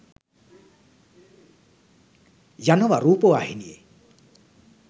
යනව රූපවාහිනියෙ